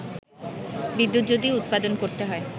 বিদ্যুৎ যদি উৎপাদন করতে হয়